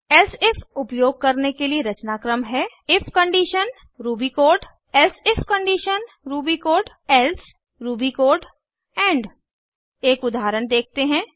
elsif उपयोग करने के लिए रचनाक्रम है if condition Ruby code elsif condition Ruby code else Ruby code end एक उदाहरण देखते हैं